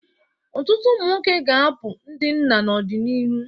Ọtụtụ ụmụ nwoke ga-abụ ndị nna n'ọdịnihu.